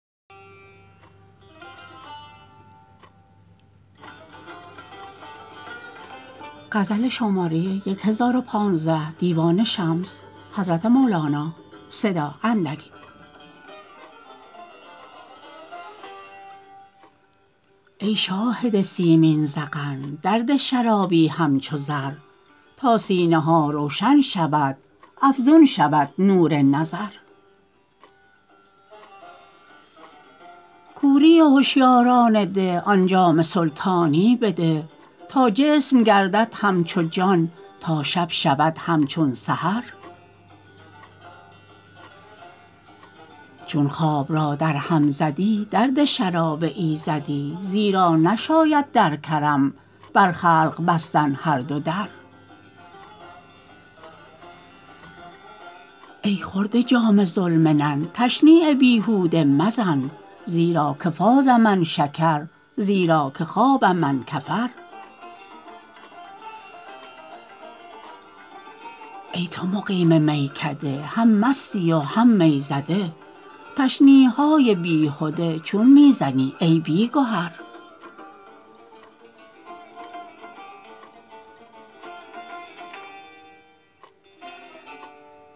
ای شاهد سیمین ذقن درده شرابی همچو زر تا سینه ها روشن شود افزون شود نور نظر کوری هشیاران ده آن جام سلطانی بده تا جسم گردد همچو جان تا شب شود همچون سحر چون خواب را درهم زدی درده شراب ایزدی زیرا نشاید در کرم بر خلق بستن هر دو در ای خورده جام ذوالمنن تشنیع بیهوده مزن زیرا که فاز من شکر زیرا که خاب من کفر ای تو مقیم میکده هم مستی و هم می زده تشنیع های بیهده چون می زنی ای بی گهر